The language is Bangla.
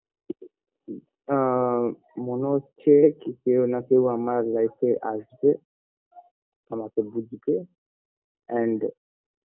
আ মনে হচ্ছে কি কেও না কেও আমার life -এ আসবে আমাকে বুঝবে and